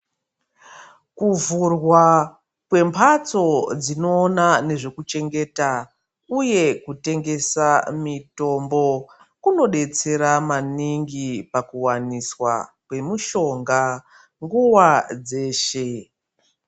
Kuvhurwa kwembatso dzinoona nezvekuchengeta uye kutengesa mitombo kunodetsera maningi pakuwaniswa kwemushonga nguwa dzeshe.